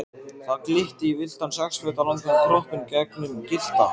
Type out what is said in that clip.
Það glitti í villtan sex feta langan kroppinn gegnum gyllta